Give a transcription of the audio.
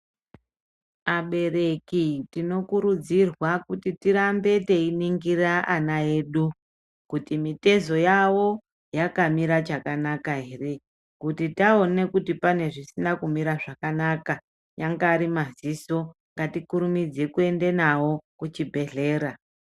Abereki tinokurudzirwa kuti tirambe teiningira ana edu kuti mitezo yawo yakamira chakanaka ere kuti taone kuti pane zvisina kumira zvakanaka anyangari madziso ngatikurumidze kuende nawo kuchibhedhlera.